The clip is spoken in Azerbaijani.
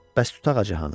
Bəs tut ağacı hanı?